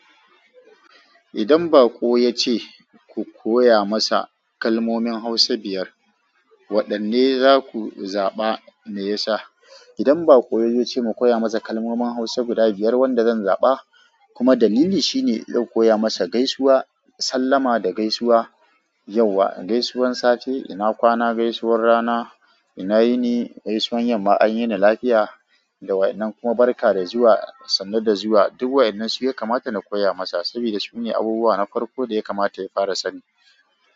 Idan bako ya ce ku koya masa kalmomin hausa biyar, waɗanne za ku zaɓa me ya sa? Idan bako ya zo ce mu koya masa kalmomin hausa guda biyar, wanda zan zaɓa kuma dalili shine zan koya masa gaisuwa, sallama da gaisuwa, yauwa, gaisuwar safe, ina kwana gaisuwar rana, ina yini gaisuwar yamma, an yi na lafiya da wa innan kuma barka da zuwa, sannu da zuwa. Duk wa innan su ya kamata na koya masa saboda su ne abubuwa na farko da ya kamata ya fara sani.